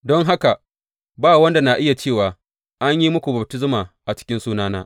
Don haka, ba wanda na iya cewa an yi muku baftisma a cikin sunana.